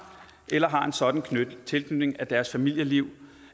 eller har en sådan tilknytning at deres familieliv